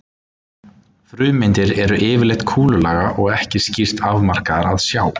Frumeindir eru yfirleitt kúlulaga og ekki skýrt afmarkaðar að sjá.